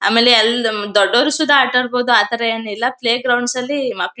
ಆಮೇಲೆ ಅಲ್ಲಿ ನಮ್ಮ್ ದೊಡ್ಡೋರು ಸೈತ ಅಟಾಡಬೋದು ಆ ತರ ಏನಿಲ್ಲ ಪ್ಲೇ ಗ್ರೌಂಡ್ಸ್ ಲ್ಲಿ ಮಕ್ಕಳು--